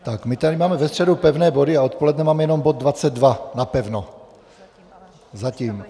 Tak my tady máme ve středu pevné body a odpoledne máme jenom bod 22, napevno, zatím.